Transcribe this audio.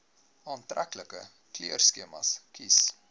aantreklike kleurskema kies